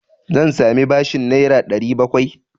Zan sami bashin Naira 700?